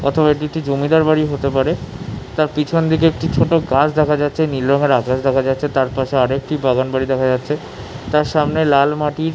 প্রথমের দুইটি জমিদার বাড়ি হতে পারে তার পিছন দিকে একটি ছোট গাছ দেখা যাচ্ছে নীল রং এর আকাশ দেখা যাচ্ছে তার পাশে আরও একটি বাগানবাড়ি দেখা যাচ্ছে তার সামনে লাল মাটি --